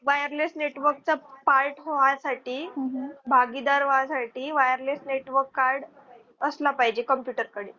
wireless network चा part होण्या साठी भागीदार वा साठी wireless network card असलं पाहिजे computer कडे.